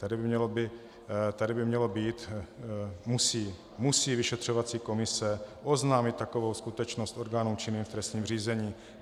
Tady by mělo být "musí vyšetřovací komise oznámit takovou skutečnost orgánům činným v trestním řízení".